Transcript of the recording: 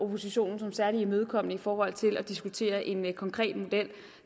oppositionen som særlig imødekommende i forhold til at diskutere en konkret model